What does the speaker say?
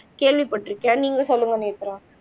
கேள்விப்பட்டிருக்கேன் நீங்க சொல்லுங்க நேத்ரா